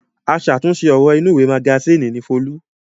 Aṣàtúnṣe ọ̀rọ̀ inúùwé magasínì ni Folú.